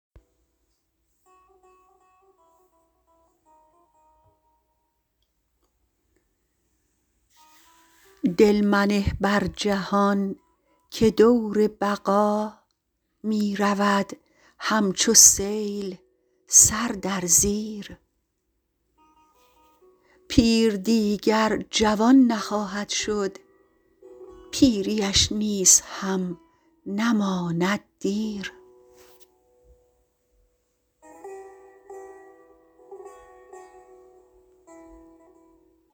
دل منه بر جهان که دور بقا می رود همچو سیل سر در زیر پیر دیگر جوان نخواهد شد پیریش نیز هم نماند دیر